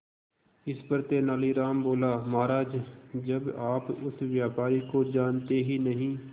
इस पर तेनालीराम बोला महाराज जब आप उस व्यापारी को जानते ही नहीं